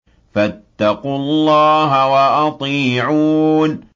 فَاتَّقُوا اللَّهَ وَأَطِيعُونِ